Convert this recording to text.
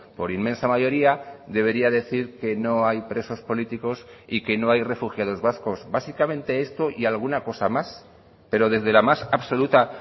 por inmensa mayoría debería decir que no hay presos políticos y que no hay refugiados vascos básicamente esto y alguna cosa más pero desde la más absoluta